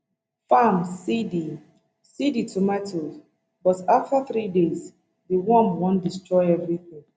farm see di see di tomato but afta three days di worm don destroy evritin